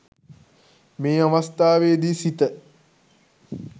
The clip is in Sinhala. මේ අවස්ථාවේදී සිත